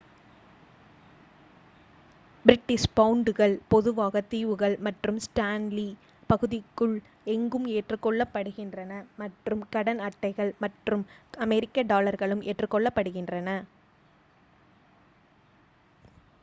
British பவுண்டுகள் பொதுவாக தீவுகள் மற்றும் ஸ்டான்லி பகுதிக்குள் எங்கும் ஏற்றுக்கொள்ளப்படுகின்றன மற்றும் கடன் அட்டைகள் மற்றும் அமெரிக்க டாலர்களும் ஏற்றுக்கொள்ளப்படுகின்றன